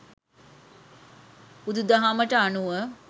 බුදුදහමට අනුව,